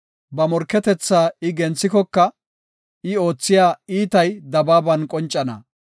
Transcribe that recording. Ba morketetha I genthikoka, I oothiya iitay dabaaban qoncana.